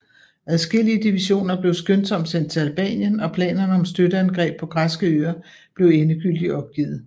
Adskillige divisioner blev skyndsomt sendt til Albanien og planerne om støtteangreb på græske øer blev endegyldigt opgivet